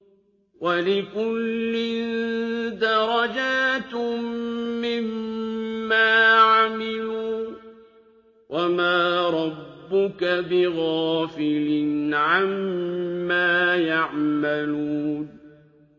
وَلِكُلٍّ دَرَجَاتٌ مِّمَّا عَمِلُوا ۚ وَمَا رَبُّكَ بِغَافِلٍ عَمَّا يَعْمَلُونَ